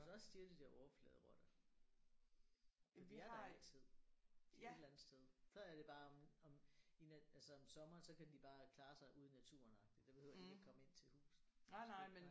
Hos os siger de det er overfladerotter for de er der altid et eller andet sted. Så er det bare om om i altså om sommeren så kan de bare klare sig ude i naturen agtig der behøver de ikke komme ind til huset